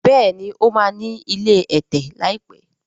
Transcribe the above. béèni o ma ní ilé ẹ̀tẹ̀ láìpé.